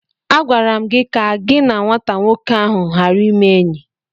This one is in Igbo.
Agwara m gi ka gị na nwata nwoke ahu ghara ịme enyi!